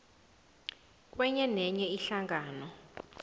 kwenye nenye ihlangano